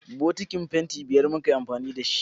Bokitin fanti biyar muka yi amfani da shi